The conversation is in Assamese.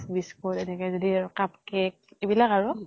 biscuit এনেকে যদি cup cake এইবিলাক আৰু